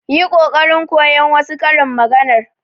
Yi kokari kowan wasu karin maganar.